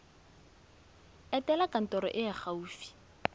etela kantoro e e gaufi